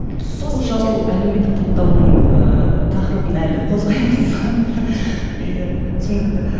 бұл жалпы әлеуметтік таптауырынның ыыы тақырыбын әлі қозғаймыз иә түсінікті